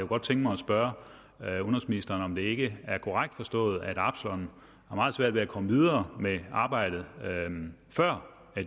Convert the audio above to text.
godt tænke mig at spørge udenrigsministeren om det ikke er korrekt forstået at absalon har meget svært ved at komme videre med arbejdet før